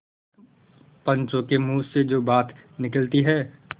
पंचों के मुँह से जो बात निकलती है